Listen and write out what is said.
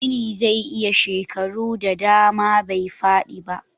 Gini zai iya shekaru da dama bai fadi ba